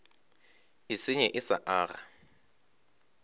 e senye e sa aga